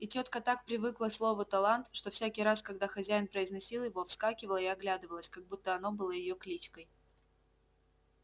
и тётка так привыкла к слову талант что всякий раз когда хозяин произносил его вскакивала и оглядывалась как будто оно было её кличкой